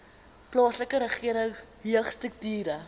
plaaslike regering jeugstrukture